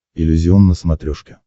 иллюзион на смотрешке